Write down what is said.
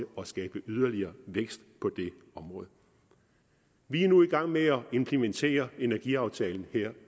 at skabe yderligere vækst på området vi er nu i gang med implementere energiaftalen her